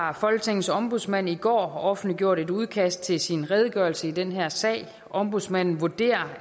har folketingets ombudsmand i går offentliggjort et udkast til sin redegørelse i den her sag ombudsmanden vurderer